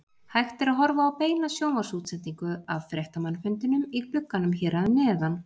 Hægt er að horfa á beina sjónvarpsútsendingu af fréttamannafundinum í glugganum hér að neðan.